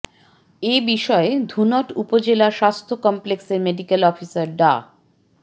এ বিষয়ে ধুনট উপজেলা স্বাস্থ্য কমপ্লেক্সের মেডিকেল অফিসার ডা